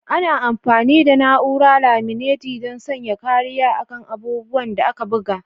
Ana amfani da na'urar laminatin don sanya kariya a kan abubuwan da aka buga.